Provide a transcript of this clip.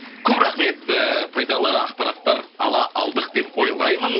көп рахмет ыыы пайдалы ақпараттар ала алдық деп ойлаймын